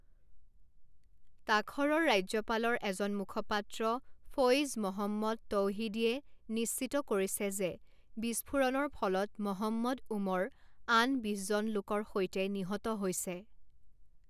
তাখৰৰ ৰাজ্যপালৰ এজন মুখপাত্ৰ ফৈজ মহম্মদ তৌহিদীয়ে নিশ্চিত কৰিছে যে বিস্ফোৰণৰ ফলত মহম্মদ ওমৰ আন বিশজনলোকৰ সৈতে নিহত হৈছে।